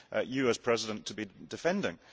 you as President to be defending.